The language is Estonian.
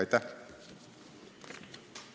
Aitäh!